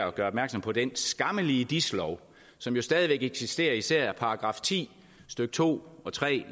at gøre opmærksom på den skammelige dis lov som jo stadig væk eksisterer især § ti stykke to og tre